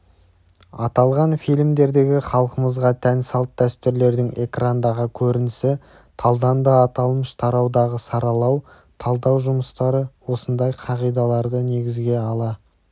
аталған фильмдердегі халқымызға тән салт-дәстүрлердің экрандағы көрінісі талданды аталмыш тараудағы саралау-талдау жұмыстары осындай қағидаларды негізге ала